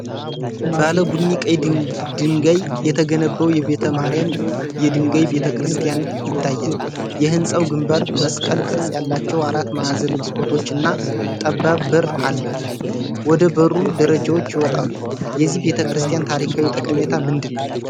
ባለ ቡኒ ቀይ ድንጋይ የተገነባው የቤተ ማርያም የድንጋይ ቤተክርስቲያን ይታያል። የሕንጻው ግንባር መስቀል ቅርጽ ያላቸው አራት ማዕዘን መስኮቶችና ጠባብ በር አለው፣ ወደ በሩም ደረጃዎች ይወጣሉ። የዚህ ቤተክርስቲያን ታሪካዊ ጠቀሜታ ምንድን ነው?